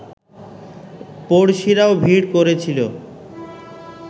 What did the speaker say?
পড়শিরাও ভিড় করেছিল